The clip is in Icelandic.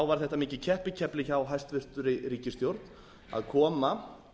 var þetta mikið keppikefli hjá hæstvirtri ríkisstjórn að koma